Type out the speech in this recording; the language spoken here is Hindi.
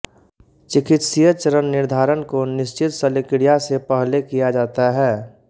चिकित्सीय चरण निर्धारण को निश्चित शल्यक्रिया से पहले किया जाता है